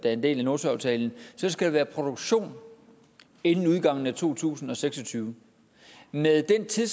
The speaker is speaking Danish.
en del af nordsøaftalen skal være i produktion inden udgangen af to tusind og seks og tyve med den tid